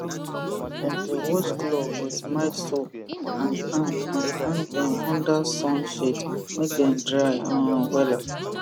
dem dey wash glove with mild soap and hang and hang dem under sun shade make dem dry um wella